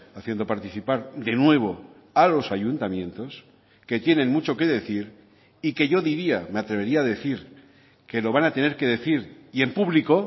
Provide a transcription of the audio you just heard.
haciendo participar de nuevo a los ayuntamientos que tienen mucho que decir y que yo diría me atrevería a decir que lo van a tener que decir y en público